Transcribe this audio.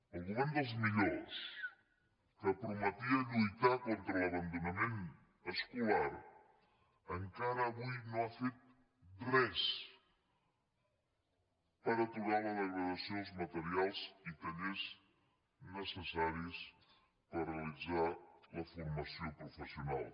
el govern dels millors que prometia lluitar contra l’abandonament escolar encara avui no ha fet res per aturar la degradació dels materials i tallers necessaris per realitzar la formació professional